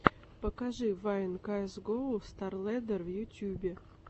покажи вайн каэс гоу старлэддер в ютюбе